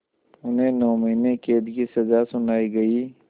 उन्हें नौ महीने क़ैद की सज़ा सुनाई गई